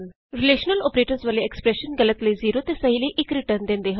expressions ਜਿਨ੍ਹਾਂ ਵਿਚ relational operators ਵਰਤੇ ਜਾਂਦੇ ਹਨ ਗਲਤ ਲਈ ਰਿਟਰਨ 0 ਅਤੇ ਸਹੀ ਲਈ 1 ਵਿਅਕਤ ਕਰਦੇ ਹਨ